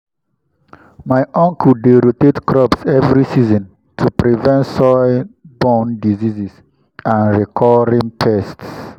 my uncle dey rotate crops every season to prevent soil-borne diseases and recurring pests.